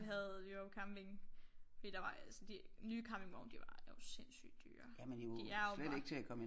Vi havde jo camping fordi der var altså de nye campingvogne de var jo sindssygt dyre de er jo bare